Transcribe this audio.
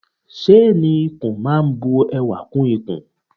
Ṣéénì ikùn máa bu ẹwà kún ikùn.